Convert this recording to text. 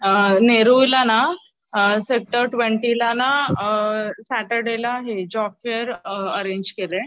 अअ नेरुळला ना सेक्टर ट्वेंटीला ना अअ सॅटरडे हे जॉबफेअर अरैंज केलय.